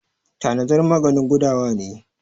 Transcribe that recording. tanazar maganin gudawa ne